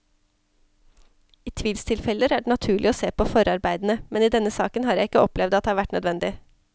I tvilstilfeller er det naturlig å se på forarbeidene, men i denne saken har jeg ikke opplevd at det har vært nødvendig.